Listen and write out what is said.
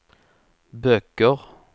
böcker